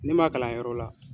Ne man kalan yɔrɔ la.